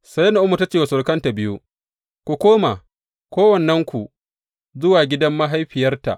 Sai Na’omi ta ce wa surukanta biyu, Ku koma, kowannenku, zuwa gidan mahaifiyarta.